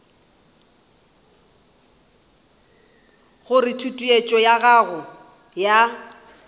gore tutuetšo ya go ya